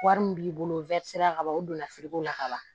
Wari min b'i bolo ka ban o donna la ka ban